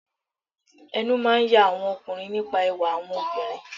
Ẹnu máà ń ya àwọn ọkùnrin nípa ẹwà àwọn obìnrin.